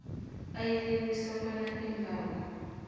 ayeleliswa bona iimbawo